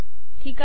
ठीक आहे